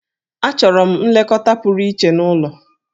Achọrọ m nlekọta pụrụ iche n'ụlọ.